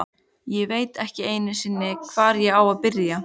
Ég veit ekki einu sinni, hvar ég á að byrja.